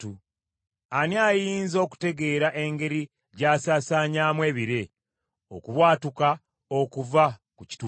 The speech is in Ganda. Ani ayinza okutegeera engeri gy’asaasaanyamu ebire, okubwatuka okuva ku kituuti kye?